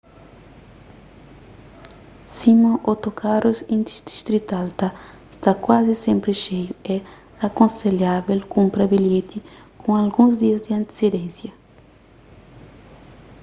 sima otokarus interdistrital ta sta kuazi sénpri xeiu é akonselhavel kunpra bilheti ku alguns dias di antisidénsia